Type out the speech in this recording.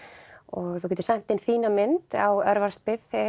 þú getur sent inn þína mynd á